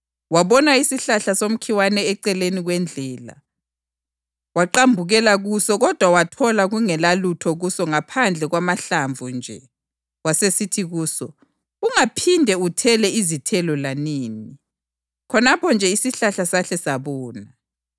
Wabona isihlahla somkhiwa eceleni kwendlela, waqambukela kuso kodwa wathola kungelalutho kuso ngaphandle kwamahlamvu nje. Wasesithi kuso, “Ungaphindi uthele izithelo lanini!” Khonapho nje isihlahla sahle sabuna.